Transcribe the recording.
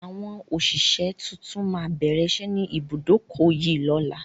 Àwọn òṣìṣẹ́ tuntun má bẹ̀rẹ̀ ìṣẹ́ ni ibùdókọ̀ yìí lọ́la